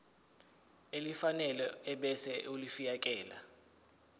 elifanele ebese ulifiakela